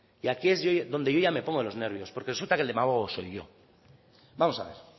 y aquí es ya donde yo me pongo de los nervios porque resulta que el demagogo soy yo vamos a ver